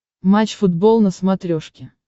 матч футбол на смотрешке